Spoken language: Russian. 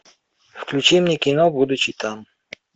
включи мне кино будучи там